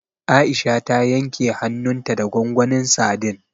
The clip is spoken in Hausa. Aisha ta yanke hannunta da gwangwanin sadin.